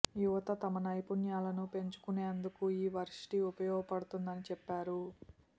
యువత తమ నైపుణ్యాలను పెంచుకునేందుకు ఈ వర్సిటీ ఉపయోగపడుతుందని చెప్పారు